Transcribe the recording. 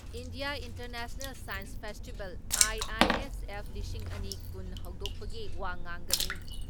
India International Science Festival, IISF ꯂꯤꯁꯤꯡ ꯑꯅꯤ ꯀꯨꯟ ꯍꯧꯗꯣꯛꯄꯒꯤ ꯋꯥ ꯉꯥꯡꯒꯅꯤ ꯫